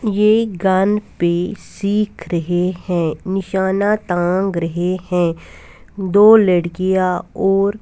यह गन पर सिख रहे है निशाना तांग रहे है दो लडकिया और--